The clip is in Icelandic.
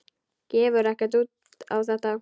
Gefur ekkert út á þetta.